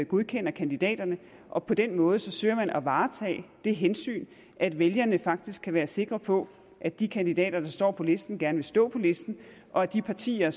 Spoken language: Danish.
godkender kandidaterne og på den måde søger man at varetage det hensyn at vælgerne faktisk kan være sikre på at de kandidater der står på listen gerne vil stå på listen og at de partier